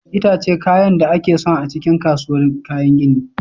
Itace kayan da ake son a cikin kasuwar kayan gini.